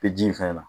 Bɛ ji falen ya